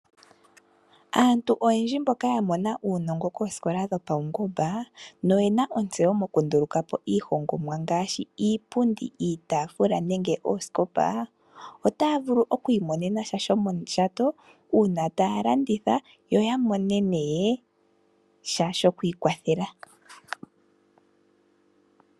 Aantu oyendji mboka ya mona uunongo koosikola dhopaungomba noye na uunongo okunduluka po iihongomwa ngaashi iipundi, iitafula, oosikopa niikwawo yilwe otaya vulu okwiimonena sha shomondjato uuna ta ya landitha yo ya vule okwiikwathela.